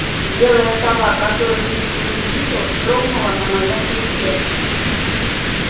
белая сова которую никто не видел вздрогнула на моём плече